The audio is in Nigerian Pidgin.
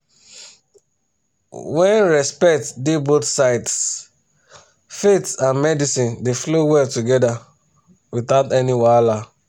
when respect dey both sides faith and medicine dey flow well together without any wahala.